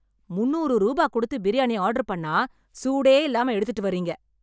முந்நூறு ரூபா கொடுத்து பிரியாணி ஆர்டர் பண்ணா சூடே இல்லாம எடுத்துட்டு வர்றீங்க